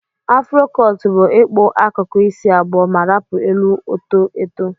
Afro cọt bu ịkpụ akuku isi abụọ ma rapu elu oto eto.